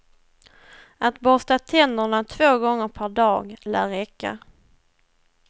Att borsta tänderna två gånger per dag lär räcka.